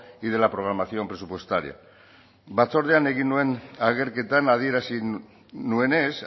y de la programación presupuestaria batzordean egin nuen agerketan adierazi nuenez